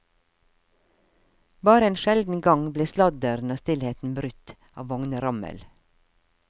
Bare en sjelden gang ble sladderen og stillheten brutt av vognrammel.